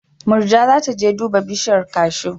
Murja za ta je duba bishiyar kashu.